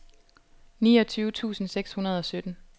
niogtyve tusind seks hundrede og sytten